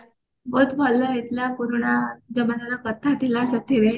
ବହୁତ ଭଲ ହେଇଥିଲା ପୁରୁଣା ଜମାନା ର କଥା ଥିଲା ସେଥିରେ